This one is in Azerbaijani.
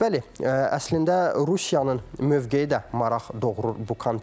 Bəli, əslində Rusiyanın mövqeyi də maraq doğurur bu kontekstdə.